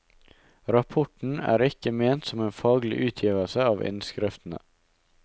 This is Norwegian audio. Rapporten er ikke ment som en faglig utgivelse av innskriftene.